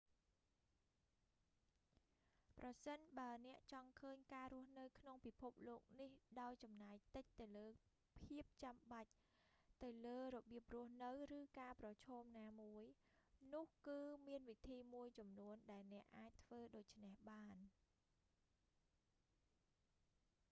ប្រសិនបើអ្នកចង់ឃើញការរស់នៅក្នុងពិភពលោកនេះដោយចំណាយតិចទៅលើភាពចំបាច់ ទៅលើរបៀបរស់នៅ ឬការប្រឈមណាមួយ នោះគឺមានវិធីមួយចំនួនដែលអ្នកអាចធ្វើដូច្នេះបាន